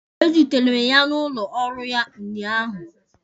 Ezutere m ya n'ụlọ ọrụ ya ụnyaahụ.